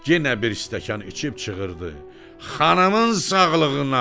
Yenə bir stəkan içib çığırdı: "Xanımın sağlığına!"